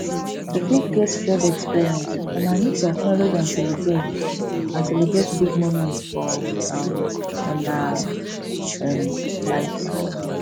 to fit get shared expeience una need to acknowlege and celebrate and celebrate big moments for um una um lives